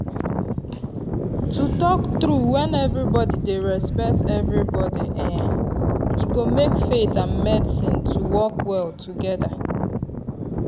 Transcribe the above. to talk true when everybody dey respect everybody[um]e go make faith and medicine to work well together.